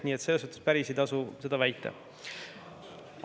Nii et selles mõttes ei tasu päris seda väita.